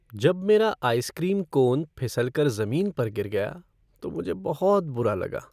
जब मेरा ice cream cone फिसल कर जमीन पर गिर गया तो मुझे बहुत बुरा लगा।